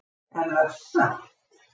Er það satt?